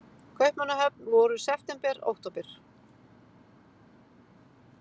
Kaupmannahöfn voru september, október.